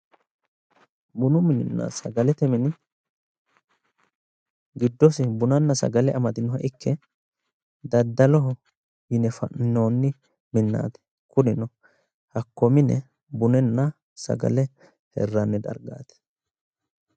Bunu mininna sagalete mini giddosi bunanna sagale amadinoha ikke daddaloho yine fa'ninoonni minnaati, hakko mine bunanna sagale hirranni dargaati.